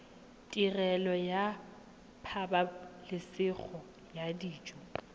tirelo ya pabalesego ya dijo